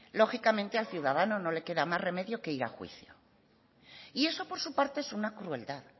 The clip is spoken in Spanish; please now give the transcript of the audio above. lógicamente al ciudadano no le queda más remedio que ir a juicio y eso por su parte es una crueldad